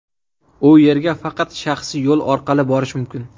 U yerga faqat shaxsiy yo‘l orqali borish mumkin.